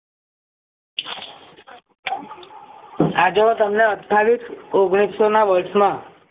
આજે હું તમને અઠાવીસ ઓગણીસો ના વર્ષ માં